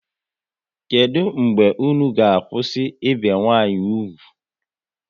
Kedụ mgbe unu ga kwụsị ibi nwa nwanyi úgwù?